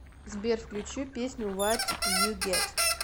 сбер включи песню ват ю гет